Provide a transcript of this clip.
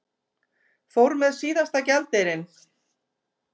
Fór með síðasta gjaldeyrinn